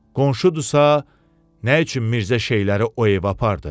Qonşudursa, nə üçün Mirzə şeyləri o evə apardı?